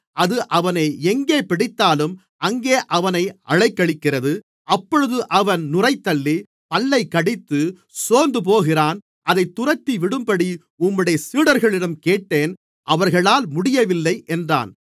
அது அவனை எங்கே பிடித்தாலும் அங்கே அவனை அலைக்கழிக்கிறது அப்பொழுது அவன் நுரைதள்ளி பல்லைக்கடித்து சோர்ந்துபோகிறான் அதைத் துரத்திவிடும்படி உம்முடைய சீடர்களிடம் கேட்டேன் அவர்களால் முடியவில்லை என்றான்